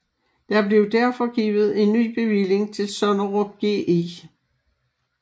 Der blev derfor givet en ny bevilling til Sonnerup Gl